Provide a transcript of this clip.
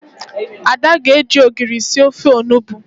Ada ga-eji ogiri sir ofe onugbo